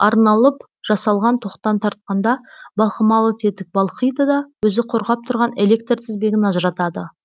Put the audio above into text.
арналып жасалған тоқтан тартқанда балқымалы тетік балқиды да өзі қорғап тұрған электр тізбегін ажыратады